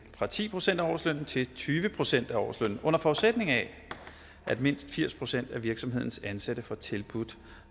fra ti procent af årslønnen til tyve procent af årslønnen under forudsætning af at mindst firs procent af virksomhedens ansatte får tilbudt